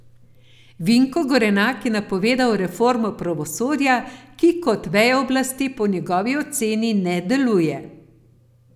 Vinko Gorenak je napovedal reformo pravosodja, ki kot veja oblasti po njegovi oceni ne deluje.